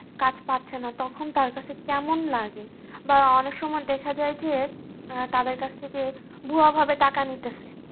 কাজ পাচ্ছে না তখন তার কাছে কেমন লাগে বা অনেক সময় দেখা যায় যে তাদের কাছ থেকে ভূয়া ভাবে টাকা নিতেছে